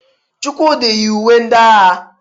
Chukwudi yi uwe ndị agha.